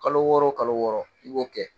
Kalo wɔɔrɔ o kalo wɔɔrɔ i b'o kɛ